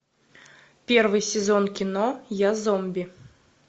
первый сезон кино я зомби